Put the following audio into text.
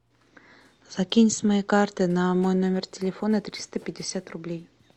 закинь с моей карты на мой номер телефона триста пятьдесят рублей